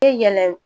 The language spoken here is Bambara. Yɛlɛ